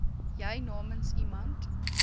jy namens iemand